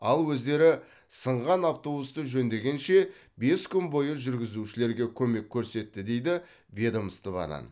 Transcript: ал өздері сынған автобусты жөндегенше бес күн бойы жүргізушілерге көмек көрсетті дейді ведомстводан